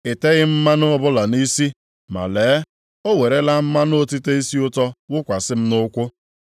Ị teghị m mmanụ ọbụla nʼisi, ma lee, o werela mmanụ otite isi ụtọ wụkwasị m nʼụkwụ.